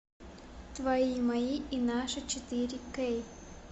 твои мои и наши четыре кей